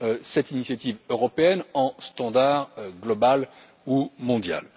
cette initiative européenne en standard global ou mondial.